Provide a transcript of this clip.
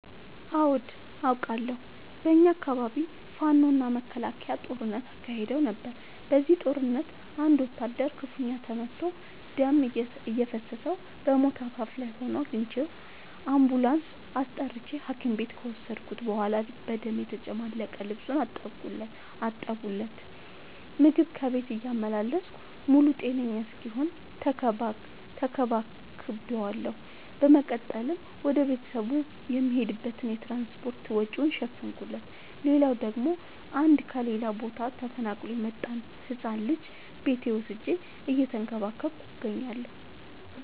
አዎድ አቃለሁ። በኛ አካባቢ ፋኖ እና መከላከያ ጦርነት አካሂደው ነበር። በዚህ ጦርነት አንድ ወታደር ክፋኛ ተመቶ ደም እየፈሰሰው በሞት አፋፍ ላይ ሆኖ አግኝቼው። አንቡላንስ አስጠርቼ ሀኪም ቤት ከወሰድከት በኋላ በደም የተጨማለቀ ልብሱን አጠብለት። ምግብ ከቤት እያመላለስኩ ሙሉ ጤነኛ እስኪሆን ተከባክ ቤዋለሁ። በመቀጠልም ወደ ቤተሰቡ የሚሄድበትን የትራንስፓርት ወጪውን ሸፈንኩለት። ሌላላው ደግሞ አንድ ከሌላ ቦታ ተፈናቅሎ የመጣን ህፃን ልጅ ቤቴ ወስጄ እየተንከባከብኩ እገኛለሁ።